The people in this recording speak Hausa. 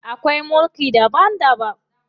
Akwai mulki daban daban.